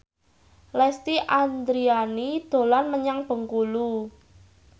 Lesti Andryani dolan menyang Bengkulu